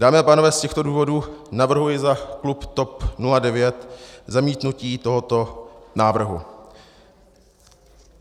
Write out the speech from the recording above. Dámy a pánové, z těchto důvodů navrhuji za klub TOP 09 zamítnutí tohoto návrhu.